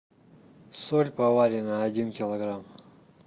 соль поваренная один килограмм